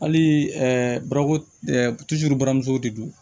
Hali bara buramuso de don